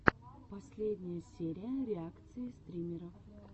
последняя серия реакции стримеров